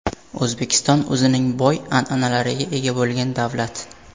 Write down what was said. O‘zbekiston o‘zining boy an’analariga ega bo‘lgan davlat.